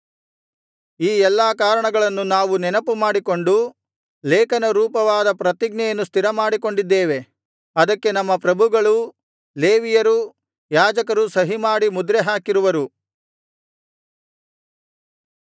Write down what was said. ಈ ಎಲ್ಲಾ ಕಾರಣಗಳನ್ನು ನಾವು ನೆನಪುಮಾಡಿಕೊಂಡು ಲೇಖನ ರೂಪವಾದ ಪ್ರತಿಜ್ಞೆಯನ್ನು ಸ್ಥಿರಮಾಡಿಕೊಂಡಿದ್ದೇವೆ ಅದಕ್ಕೆ ನಮ್ಮ ಪ್ರಭುಗಳೂ ಲೇವಿಯರೂ ಯಾಜಕರೂ ಸಹಿಮಾಡಿ ಮುದ್ರೆ ಹಾಕಿರುವರು